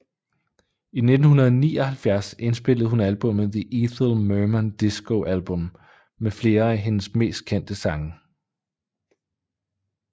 I 1979 indspillede hun albummet The Ethel Merman Disco Album med flere af hendes mest kendte sange